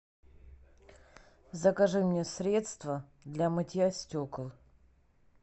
закажи мне средство для мытья стекол